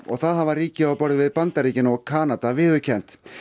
og það hafa ríki á borð við Bandaríkin og Kanada viðurkennt